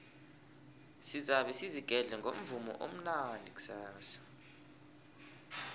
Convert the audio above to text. sizabe sizigedle ngomvumo omnandi kusasa